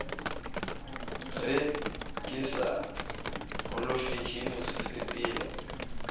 re ke sa holofetše mosepelo